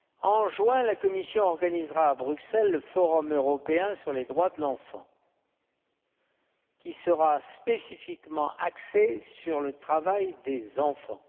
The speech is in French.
En juin, la Commission organisera à Bruxelles le forum européen sur les droits de l'enfant, qui sera spécifiquement axé sur le travail des enfants.